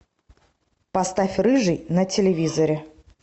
поставь рыжий на телевизоре